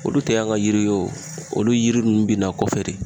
Olu te an ka yiri wo olu yiri nunnu bina kɔfɛ de